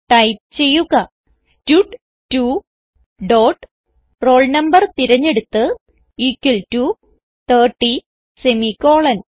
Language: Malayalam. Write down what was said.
ടൈപ്പ് ചെയ്യുക സ്റ്റഡ്2 ഡോട്ട് roll no തിരഞ്ഞെടുത്ത് ഇക്വൽ ടോ 30 സെമിക്കോളൻ